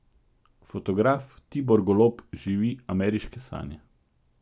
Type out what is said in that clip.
Fotograf Tibor Golob živi ameriške sanje.